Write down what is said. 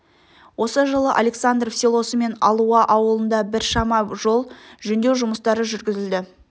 осы жылы александров селосымен алуа ауылында бір шама жол жөндеу жұмыстары жүргізілді